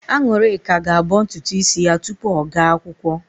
An̄ụlịka ga-abọ ntutu ísí ya tupu ọ gaa akwụkwọ.